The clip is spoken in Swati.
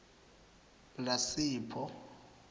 lasipho